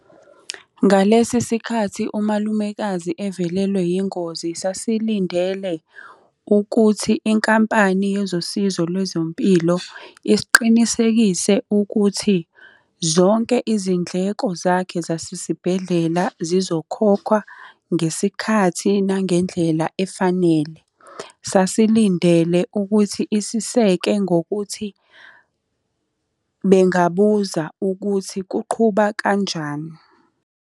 Ngalesi sikhathi, umalumekazi evelelwe yingozi sasilindele ukuthi inkampani yezosizo lwezempilo isiqinisekise ukuthi zonke izindleko zakhe zasesibhedlela zizokhokhwa ngesikhathi, nangendlela efanele. Sasilindele ukuthi isiseke ngokuthi bengabuza ukuthi kuqhuba kanjani.